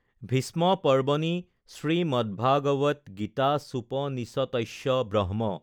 ভীষ্ম পৰ্ব্বণি শ্ৰীমদ্ভাগৱদগীতাসুপনিষত্স্য ব্ৰক্ষ্ম